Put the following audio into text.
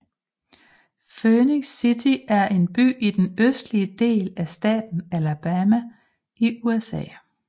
Phenix City er en by i den østlige del af staten Alabama i USA